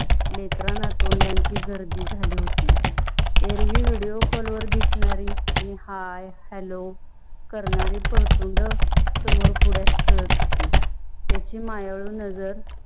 लेकरना तोंडाची गर्दी झली होती. एरवी video call वर दिसणारी आनी hi, hello करणारी परतुंडसमोर पुढ्यात खेळत होती. त्याची मायाळू नज़र.